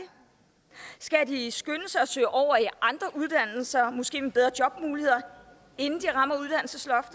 skal de skynde sig at søge over i andre uddannelser måske med bedre jobmuligheder inden